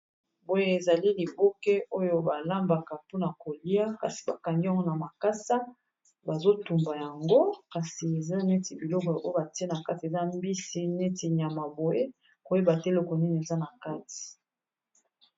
boye ezali liboke oyo balambaka mpona kolia kasi bakangi yango na makasa bazotumba yango kasi eza neti biloko oyo batie na kati eza mbisi neti nyama boye koyeba te loko nini eza na kati